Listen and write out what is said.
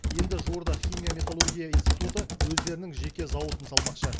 енді жуырда химия металлургия институты өздерінің жеке зауытын салмақшы